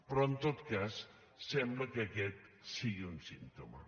però en tot cas sembla que aquest sigui un símptoma